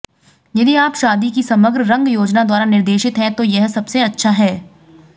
यदि आप शादी की समग्र रंग योजना द्वारा निर्देशित हैं तो यह सबसे अच्छा है